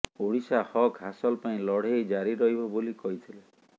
ଓଡ଼ିଶା ହକ୍ ହାସଲ ପାଇଁ ଲଢ଼େଇ ଜାରି ରହିବ ବୋଲି କହିଥିଲେ